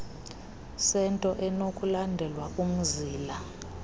sento ekunokulandelwa umzila